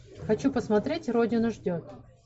хочу посмотреть родина ждет